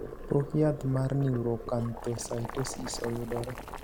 Pok yath mar neuroacanthocytosis oyudore.